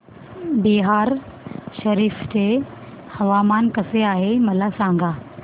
बिहार शरीफ चे हवामान कसे आहे मला सांगा